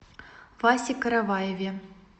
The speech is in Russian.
васе караваеве